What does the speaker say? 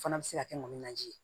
Fana bɛ se ka kɛ manje ye